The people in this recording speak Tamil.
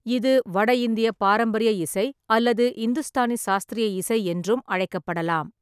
இது வட இந்திய பாரம்பரிய இசை அல்லது இந்துஸ்தானி சாஸ்திரிய இசை என்றும் அழைக்கப்படலாம்.